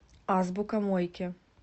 азбука мойки